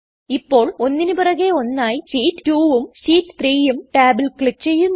ഇപ്പോൾ ഒന്നിന് പിറകെ ഒന്നായി ഷീറ്റ് 2ഉം ഷീറ്റ് 3ഉം ടാബിൽ ക്ലിക് ചെയ്യുന്നു